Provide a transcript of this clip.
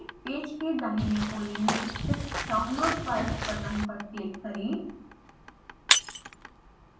page के दाहिने कोने में स्थित download files बटन पर क्लिक करें